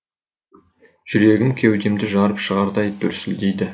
жүрегім кеудемді жарып шығардай дүрсілдейді